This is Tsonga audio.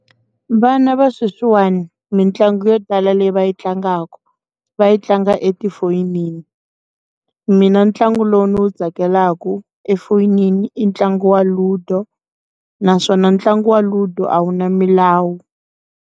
Vana va sweswi n'wani mitlangu yo tala leyi va yi tlangaka va yi tlanga etifonini, mina ntlangu lowu ndzi wu tsakelaka efonini i ntlangu wa Ludo naswona ntlangu wa Ludo a wu na milawu.